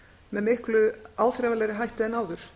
með miklu áþreifanlegri hætti en áður